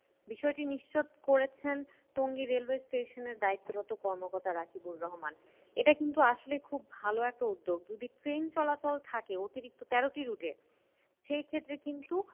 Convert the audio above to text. বিষয়টি নিশ্চিত করেছেন টঙ্গী railway station এর দায়িত্বরত কর্মকর্তা রাকিবুল রহমান। এটা কিন্তু আসলে খুব ভালো একটা উদ্যোগ। যদি ট্রেন চলাচল থাকে অতিরিক্ত তেরোটি route এ সেই ক্ষেত্রে কিন্তু